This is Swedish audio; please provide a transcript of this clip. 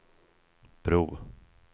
bro